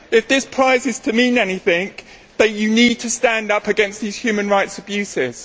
If this prize is to mean anything, you need to stand up against these human rights abuses.